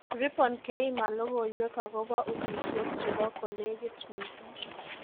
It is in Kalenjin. Ribon keima logoiwek akobo usishet chebo kolekit mising'